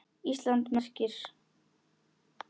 Íslands merki.